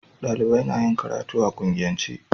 Dalibai na yin karatu a kungiyance